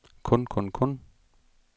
kun kun kun